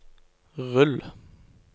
rull